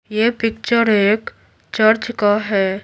यह पिक्चर एक चर्च का है।